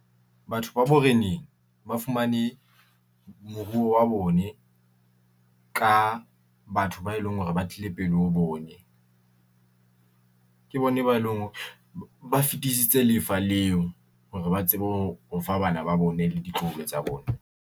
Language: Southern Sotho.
Batho ba boreneng ba fumane moruo wa bone ka batho ba e leng hore ba tlile pele, ho bone. Ke bone ba e leng hore ba fitisitse lefa leo hore ba tsebe ho o fa bana ba bone le ditloholo tsa bona.